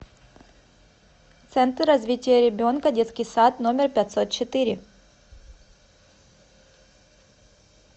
центр развития ребенка детский сад номер пятьсот четыре